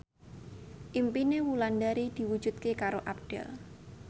impine Wulandari diwujudke karo Abdel